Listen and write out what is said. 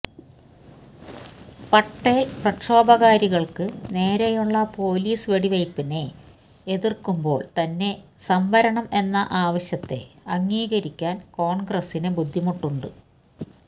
പട്ടേല് പ്രക്ഷോഭകാരികള്ക്ക് നേരെയുള്ള പൊലീസ് വെടിവയ്പിനെ എതിര്ക്കുമ്പോള് തന്നെ സംവരണം എന്ന ആവശ്യത്തെ അംഗീകരിക്കാന് കോണ്ഗ്രസിന് ബുദ്ധിമുട്ടുണ്ട്